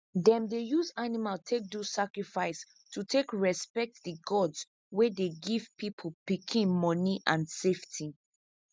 them dey use animal take do sacrifice to take respect the gods wey dey give people pikin money and safety